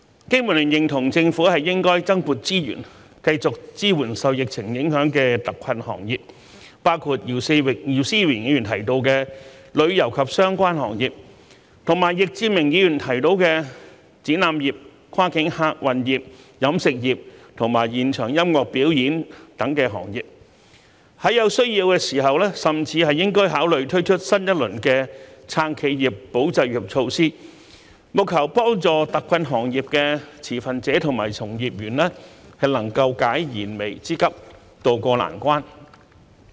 經民聯認同政府應增撥資源，繼續支援受疫情影響的特困行業，包括姚思榮議員提到的旅遊及相關行業，以及易志明議員提到的展覽業、跨境客運業、飲食業和現場音樂表演等行業，在有需要時甚至應考慮推出新一輪的"撐企業、保就業"措施，務求幫助特困行業的持份者及從業員能夠解燃眉之急，渡過難關。